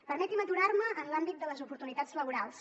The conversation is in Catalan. permetin me aturar me en l’àmbit de les oportunitats laborals